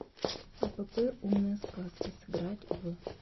апп умные сказки сыграть в